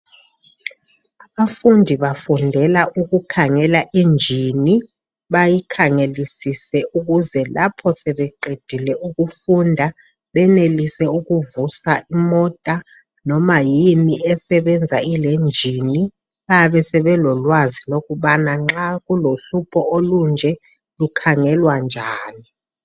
Abafundi bafundela ukukhangela injini bayikhangelisise ukuze lapho sebeqedile ukufunda benelise ukuvusa imota noma yini esebenza ilenjini bayabesebekwazi ukuba nxa kulohlupho olunje lukhangelwa njani.